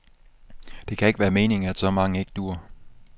Det kan ikke være meningen, at så mange ikke duer.